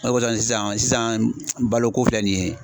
O le kosɔn sisan baloko filɛ nin ye